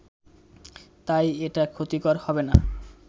তাই এটা ক্ষতিকর হবেনা